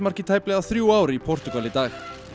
í tæplega þrjú ár í Portúgal í dag